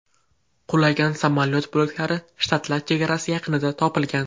Qulagan samolyot bo‘laklari shtatlar chegarasi yaqinidan topilgan.